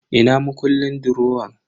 Ina makullin durowan?